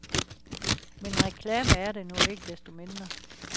Men reklame er det nu ikke desto mindre.